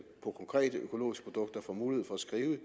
på konkrete økologiske produkter får mulighed for at skrive